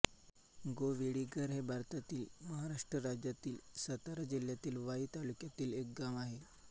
गोवेडीगर हे भारतातील महाराष्ट्र राज्यातील सातारा जिल्ह्यातील वाई तालुक्यातील एक गाव आहे